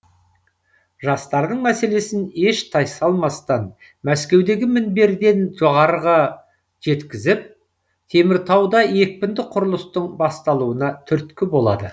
жастардың мәселесін еш тайсалмастан мәскеудегі мінберден жоғарыға жеткізіп теміртауда екпінді құрылыстың басталуына түрткі болады